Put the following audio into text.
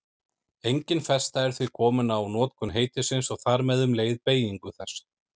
Engin festa er því komin á notkun heitisins og þar með um leið beygingu þess.